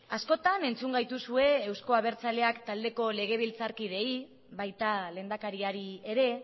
askotan entzun gaituzue euzko abertzaleak taldeko legebiltzarkideei baita lehendakariari ere